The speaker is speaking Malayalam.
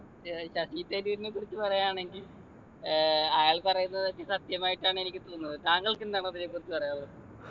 ഏർ ശശി തരൂരിനെക്കുറിച്ച് പറയാണെങ്കിൽ ഏർ അയാൾ പറയുന്നതൊക്കെ സത്യമായിട്ടാണ് എനിക്ക് തോന്നുന്നത് താങ്കൾക്കെന്താണ് അതിനെക്കുറിച്ച് പറയാനുള്ളത്